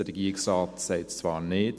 Der Regierungsrat sagt zwar Nein.